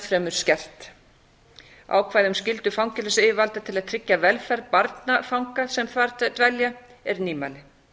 fremur skert ákvæði um skyldu fangelsisyfirvalda til að tryggja velferð barna fanga sem þar dvelja er nýmæli